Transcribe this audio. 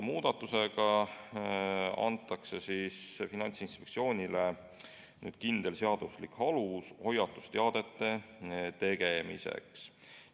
Muudatusega antakse Finantsinspektsioonile kindel seaduslik alus hoiatusteadete avaldamiseks.